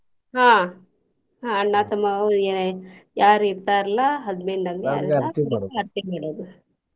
ಆಹ್ ಆಹ್ ಅಣ್ಣಾ ತಮ್ಮಾ ಅವ್ರಿಗೆ ಯಾರ್ ಇರ್ತಾರ್ಲಾ ಆರ್ತಿ ಮಾಡೋದು.